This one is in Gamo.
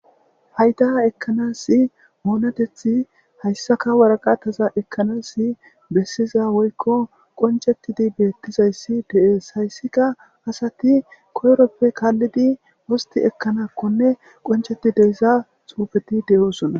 Payda ekkanas oonatethi hayssaka waraqataza ekkanas bessiza woykko qoncetidi beettizayssi dees hayssika asati koyroppe kaallidi wosti ekkanakkonne qoncheti deysa xuufeti de7oosona